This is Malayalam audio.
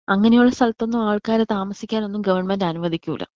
അങ്ങനെയുള്ള സ്ഥലത്ത് ഒന്നും ആൾക്കാരെ താമസിക്കാൻ ഒന്നും ഗവണ്മെന്റ് അനുവദിക്കൂല.